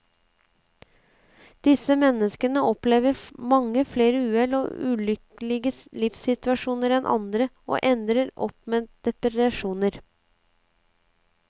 Disse menneskene opplever mange flere uhell og ulykkelige livssituasjoner enn andre, og ender opp med depresjoner.